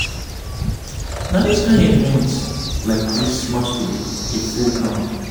na this kind event like this masqurade dey full ground.